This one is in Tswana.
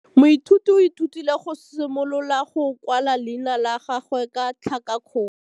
Moithuti o ithutile go simolola go kwala leina la gagwe ka tlhakakgolo.